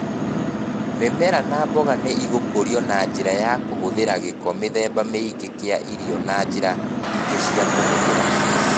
Mĩmera na mboga nĩ igũkũrio na njĩra ya kũhũthĩra gĩko mĩthemba mĩingĩ kia irio na njĩra ingĩ cia kũhũthĩra